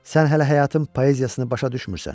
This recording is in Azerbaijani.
Sən hələ həyatın poeziyasını başa düşmürsən.